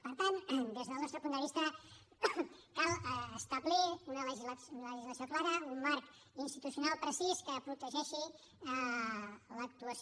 per tant des del nostre punt de vista cal establir una legislació clara un marc institucional precís que protegeixi l’actuació